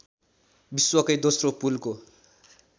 विश्वकै दोस्रो पुलको